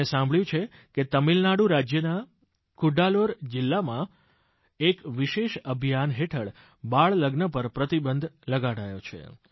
મેં સાંભળ્યું છે કે તમિલનાડુ રાજ્યના કડલૂર જિલ્લામાં એક વિશેષ અભિયાન હેઠળ બાળલગ્ન પર પ્રતિબંધ લગાડાયો છે